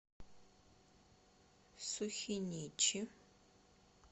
сухиничи